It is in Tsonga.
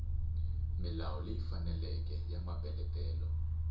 milawu leyi faneleke ya mapeletelo